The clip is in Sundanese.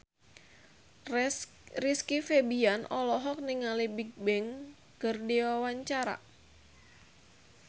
Rizky Febian olohok ningali Bigbang keur diwawancara